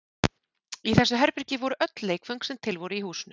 Í þessu herbergi voru öll leikföng sem til voru í húsinu.